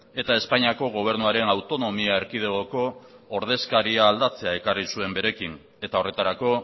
eta espainiako gobernuaren autonomia erkidegoko ordezkaria aldatzea ekarri zuen berekin eta horretarako